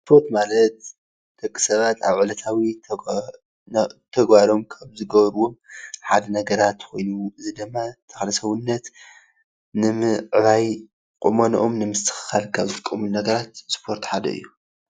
ሰፖርት ማለት ደቅሰባትኣብ ዕለታዊ ተግባሮም ክም ዝገበርዎሓደ ነገራት እዚ አብ ሰዉነትኒምዕባይ ቆሞኖኦሞ ኒምስትክካልካብዝጥቀምሉ ነገራት አሰፖርት ሓደእዩ፡፡